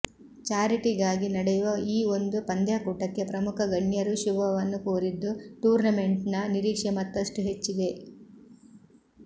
charity ಗಾಗಿ ನಡೆಯುವ ಈ ಒಂದು ಪಂದ್ಯಾಕೂಟಕ್ಕೆ ಪ್ರಮುಖ ಗಣ್ಯರೂ ಶುಭವನ್ನು ಕೋರಿದ್ದು ಟೂರ್ನಮೆಂಟ್ ನ ನಿರೀಕ್ಷೆ ಮತ್ತಷ್ಟು ಹೆಚ್ಚಿದೆ